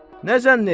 Nə zənn etdin?